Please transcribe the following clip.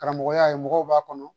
Karamɔgɔya ye mɔgɔw b'a kɔnɔ